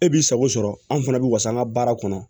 E b'i sago sɔrɔ an fana bɛ wasa an ka baara kɔnɔ